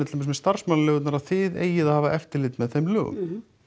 til dæmis með starfsmannaleigurnar þið eigið að hafa eftirlit með þeim lögum